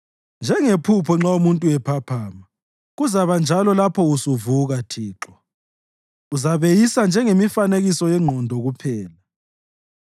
Njengephupho nxa umuntu ephaphama kuzakuba njalo lapho usuvuka, Thixo, uzabeyisa njengemifanekiso yengqondo kuphela.